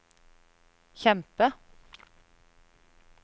kjempe